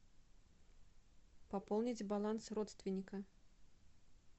пополнить баланс родственника